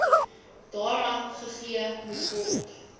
daaraan gegee moetword